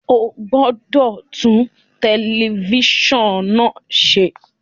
O gbọdọ tun tẹlifisiọnu naa ṣe!